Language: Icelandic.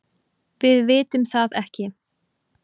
Við vitum það ekki.